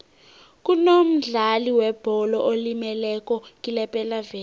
kunomdlali webholo olimeleko kulepelaveke